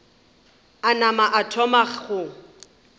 a nama a thoma go